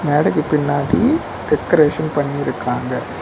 மேடைக்கு பின்னாடி டெக்கரேஷன் பண்ணி இருக்காங்க.